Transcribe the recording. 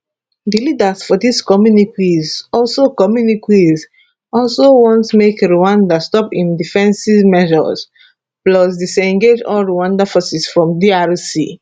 di leaders for dis communiques also communiques also want make rwanda stop im defensive measures plus disengage all rwanda forces from drc